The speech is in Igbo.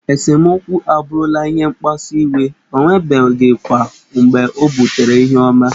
Esemokwu abụrụla ihe mkpasu iwe, o nwebeghịkwa mgbe o butere ihe ọma.